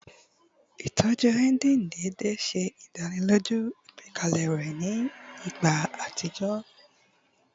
Itọju engine deede ṣe idaniloju igbẹkẹle rẹ ni igba atijọ